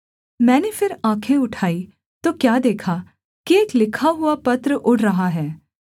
मैंने फिर आँखें उठाई तो क्या देखा कि एक लिखा हुआ पत्र उड़ रहा है